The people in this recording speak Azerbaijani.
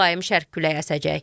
Mülayim şərq küləyi əsəcək.